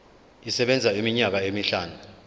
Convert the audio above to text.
isebenza iminyaka emihlanu